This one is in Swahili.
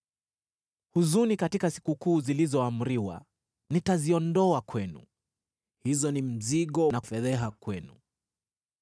“Huzuni katika sikukuu zilizoamriwa nitaziondoa kwenu; hizo ni mzigo na fedheha kwenu.